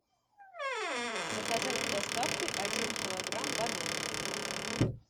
заказать с доставкой один килограмм бананов